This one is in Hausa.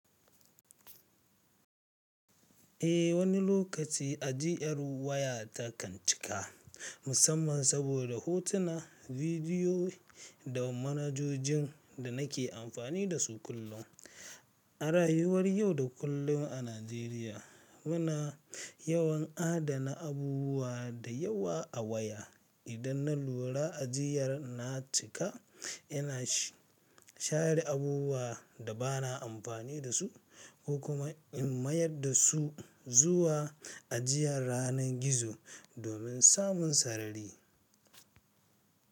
Eh wani lokaci ajiyar waya ta kan cika musamman saboda hotuna, bidiyo da manhajojin da nake amfani da su kullum. A rayuwar yau da kullum a Najeriya muna yawan adana abubuwa da yawa a waya. Idan na lura ajiyar na cika ina share abubuwa da ba na amfani da su ko kuma in mayar da su zuwa ajiyar ranar gizo domin samun sarari.